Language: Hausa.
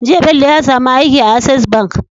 Jiya Bello ya samu aiki a access bank